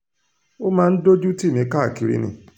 ó máa ń dójú tì mí káàkiri ni